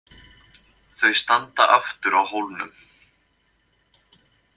Þau standa aftur á hólnum.